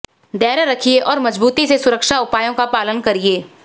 धैर्य रखिए और मजबूती से सुरक्षा उपायों का पालन करिए